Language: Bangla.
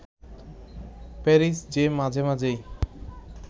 প্যারিস যে মাঝে-মাঝেই